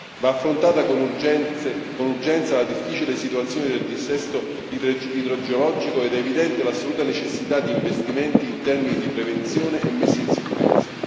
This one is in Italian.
Va affrontata con urgenza la difficile situazione del dissesto idrogeologico ed è evidente l'assoluta necessità di investimenti in termini di prevenzione e messa in sicurezza.